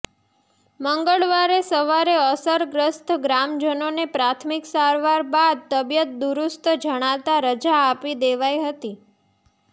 મંગળવારે સવારે અસરગ્રસ્ત ગ્રામજનોને પ્રાથમિક સારવાર બાદ તબિયત દુરૃસ્ત જણાતા રજા આપી દેવાઈ હતી